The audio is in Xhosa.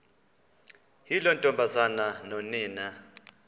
yiloo ntombazana nonina